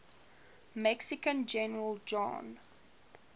mexican general juan